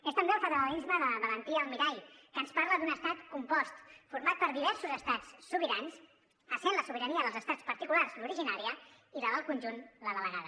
és també el federalisme de valentí almirall que ens parla d’un estat compost format per diversos estats sobirans essent la sobirania dels estats particulars l’originària i la del conjunt la delegada